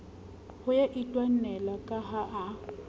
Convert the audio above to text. ho itwanela ka ha a